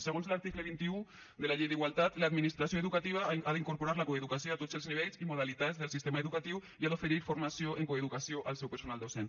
segons l’article vint un de la llei d’igualtat l’administració educativa ha d’incorporar la coeducació a tots els nivells i modalitats del sistema educatiu i ha d’oferir formació en coeducació al seu personal docent